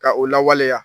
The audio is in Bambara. Ka o lawaleya